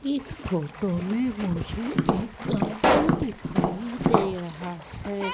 इस फोटो में मुझे एक गार्डन दिखाइ दे रहा है।